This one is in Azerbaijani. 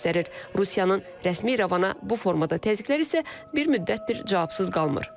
Rusiyanın rəsmi İrəvana bu formada təzyiqlər isə bir müddətdir cavabsız qalmır.